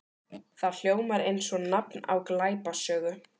Það hljómar eins og nafn á glæpasögu.